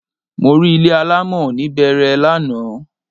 Mo rí ilé alámọ̀ ní Bẹẹrẹ lánàá